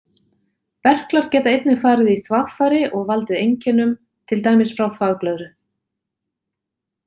Berklar geta einnig farið í þvagfæri og valdið einkennum, til dæmis frá þvagblöðru.